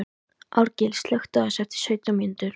Árgils, slökktu á þessu eftir sautján mínútur.